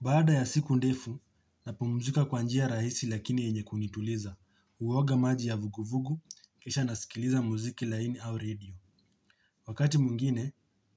Baada ya siku ndefu napumzika kwa njia rahisi lakini yenye kunituliza, huoga maji ya vuguvugu kisha nasikiliza mziki laini au radio. Wakati mwingine